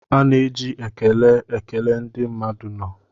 A na-eji ekele ekele ndị mmadụ nọ